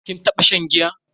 Kin taba shan giya?